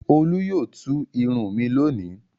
Olú yóò tú irun mi lónìí.